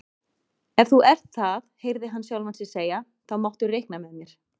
Ef þú ert það heyrði hann sjálfan sig segja, þá máttu reikna með mér